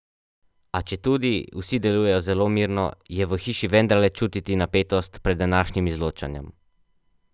A, četudi vsi delujejo zelo mirno, je v hiši vendarle čutiti napetost pred današnjim izločanjem.